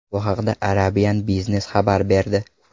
Bu haqda Arabian Business xabar berdi .